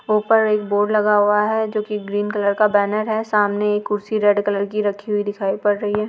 --ऊपर एक बोर्ड लगा हुआ है जो की ग्रीन कलर का बैनर है सामने एक कुर्सी रेड कलर की रखी हुई दिखाई पड़ रही है।